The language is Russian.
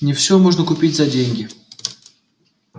не все можно купить за деньги